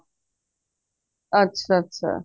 ਅੱਛਾ ਅੱਛਾ